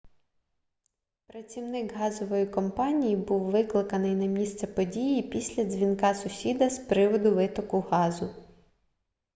працівник газової компанії був викликаний на місце події після дзвінка сусіда з приводу витоку газу